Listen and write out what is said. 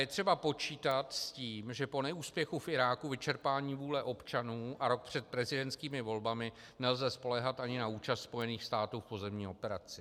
Je třeba počítat s tím, že po neúspěchu v Iráku, vyčerpání vůle občanů a rok před prezidentskými volbami nelze spoléhat ani na účast Spojených států v pozemní operaci.